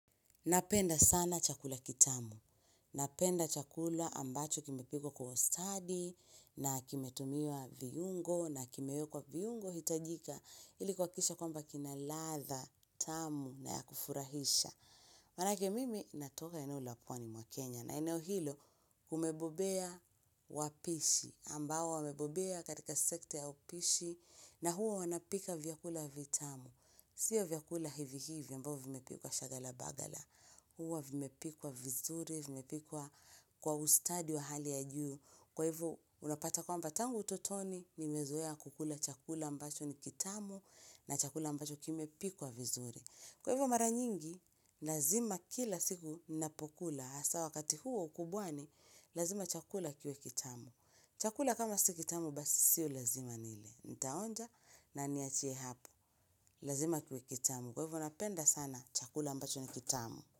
Napenda sana chakula kitamu. Napenda chakula ambacho kimepikwa kwa ustadi na kimetumiwa viungo na kimewekwa viungo hitajika. Ilikuhakikisha kwamba kina ladha, tamu na yakufurahisha. Manake mimi natoka eneo la pwani mwa Kenya na eneo hilo kumebobea wapishi. Ambao wamebobea katika sekta ya upishi na hua wanapika vyakula vitamu. Sio vyakula hivi hivi ambao vimepikwa shaghala baghala. Huwa vimepikwa vizuri, vimepikwa kwa ustadi wa hali ya juu. Kwa hivo, unapata kwamba tangu utotoni, nimezoea kukula chakula ambacho ni kitamu na chakula ambacho kimepikwa vizuri. Kwa hivo mara nyingi, lazima kila siku ninapokula. Asa wakati huu wa ukubwani, lazima chakula kiwe kitamu. Chakula kama si kitamu, basi sio lazima nile. Nitaonja na niachie hapo. Lazima kiwe kitamu. Kwa hivo, napenda sana chakula ambacho ni kitamu.